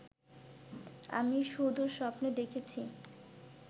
আমি শুধু স্বপ্নে দেখেছি